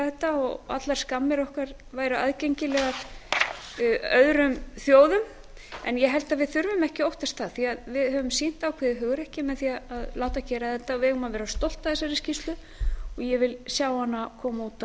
þetta að allar skammir okkar væru aðgengilegar öðrum þjóðum en ég held að við þurfum ekki að óttast það við höfum sýnt ákveðið hugrekki með því að láta gera þetta og við eigum að vera stolt af þessari skýrslu og ég vil sjá hana koma út